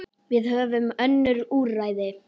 Við höfum önnur úrræði.